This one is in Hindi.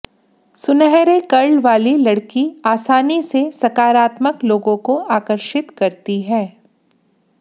सुनहरे कर्ल वाली लड़की आसानी से सकारात्मक लोगों को आकर्षित करती है